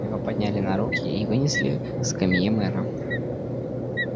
его подняли на руки и вынесли к скамье мэра